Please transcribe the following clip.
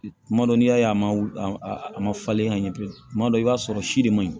Tuma dɔw n'i y'a ye a ma wuli a ma falen ɲɛ bilen kuma dɔ i b'a sɔrɔ si de man ɲi